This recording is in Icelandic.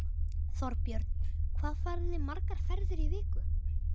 Þorbjörn: Hvað farið þið margar ferðir í viku?